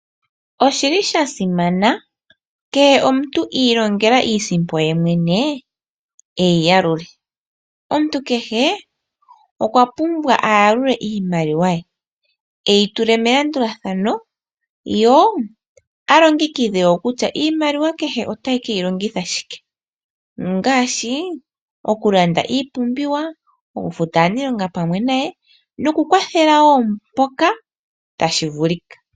Osha simana, kehe omuntu i ilongela iisimpo ye mwene e yi yalule. Omuntu kehe okwa pumbwa a yalule iimaliwa ye, e yi tule melandulathano, ye a longekidhe wo kutya iimaliwa ote ke yi longitha shike ngaashi okulanda iipumbiwa, okufuta aaniilonga pamwe naye nokukwathela wo mpoka tashi vulika.